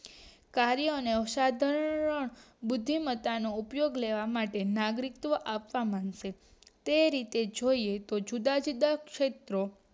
કાર્યો અને અવસાધનનો બુદ્ધિમતા નો ઉપયોગ લેવા માટે નાગરિકત્વ આપવા માંડશે તે રિતે જોઈએ નો જુદા જુદા ક્ષેત્રે